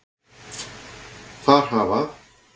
Þar hafa